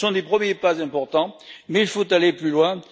Ce sont des premiers pas importants, mais il faut aller plus loin.